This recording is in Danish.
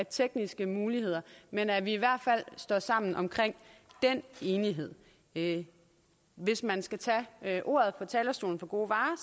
tekniske muligheder men at vi i hvert fald står sammen om den enighed enighed hvis man skal tage ordet fra talerstolen for gode varer